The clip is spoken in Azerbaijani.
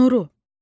Nuru.